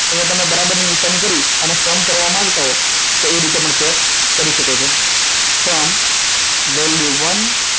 અહીંયા તમે બરાબર ની નિશાની કરી sum કરવા માંગતા હો તો એ રીતે પણ ચેક કરી શકો છો sum value one